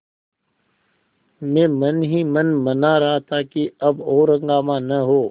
मैं मन ही मन मना रहा था कि अब और हंगामा न हो